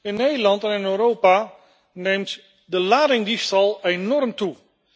In Nederland en in Europa neemt de ladingdiefstal enorm toe.